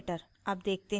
अब देखते हैं